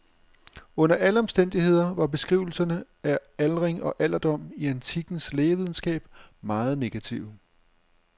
Under alle omstændigheder var beskrivelserne af aldring og alderdom i antikkens lægevidenskab meget negative.